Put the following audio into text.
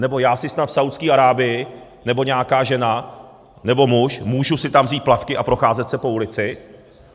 Nebo já si snad v Saúdské Arábii, nebo nějaká žena nebo muž, můžu si tam vzít plavky a procházet se po ulici?